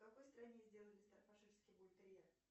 в какой стране сделали стаффордширский бультерьер